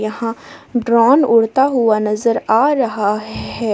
यहां ड्रोन उड़ता हुआ नजर आ रहा है।